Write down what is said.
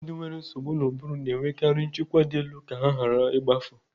Ụlọ ndị nwere nsogbu n'ubụrụ na-enwekari nchekwa dị elu ka ha ghara igbafu.